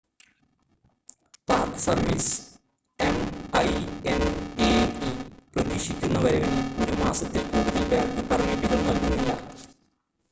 park service M I N A E പ്രതീക്ഷിക്കുന്ന വരവിന് 1 മാസത്തിൽ കൂടുതൽ പാർക്ക് പെർമിറ്റുകൾ നൽകുന്നില്ല